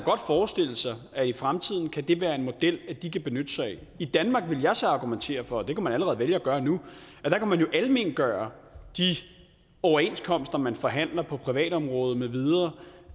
forestille sig at i fremtiden kan det være en model de kan benytte sig af i danmark vil jeg så argumentere for og det kan man allerede vælge at gøre nu kan man jo almengøre de overenskomster man forhandler på privatområdet med videre